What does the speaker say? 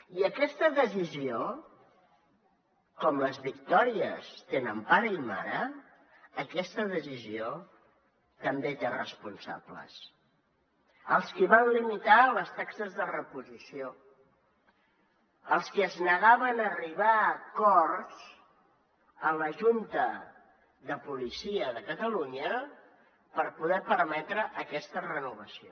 i aquesta decisió com les victòries que tenen pare i mare també té responsables els qui van limitar les taxes de reposició els qui es negaven a arribar a acords en la junta de seguretat de catalunya per poder permetre aquesta renovació